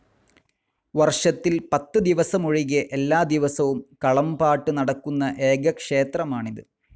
വർഷത്തിൽ പത്ത് ദിവസമൊഴികെ എല്ലാദിവസവും കളംപാട്ട് നടക്കുന്ന ഏക ക്ഷേത്രമാണിത്.